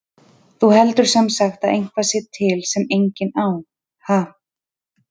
Þú heldur sem sagt að eitthvað sé til sem enginn á, ha?